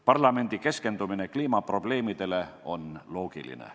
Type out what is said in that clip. Parlamendi keskendumine kliimaprobleemidele on loogiline.